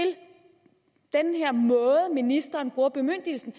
den her måde ministeren bruger bemyndigelsen